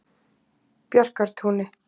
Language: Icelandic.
Bjarkartúni